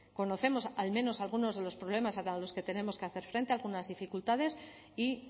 conocemos al menos algunos de los problemas a los que tenemos que hacer frente algunas dificultades y